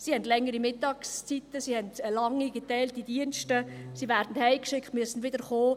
sie haben längere Mittagszeiten, sie haben lange, geteilte Dienste, sie werden nach Hause geschickt und müssen wieder herkommen.